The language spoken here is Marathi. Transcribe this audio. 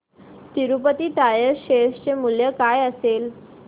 तिरूपती टायर्स शेअर चे मूल्य काय असेल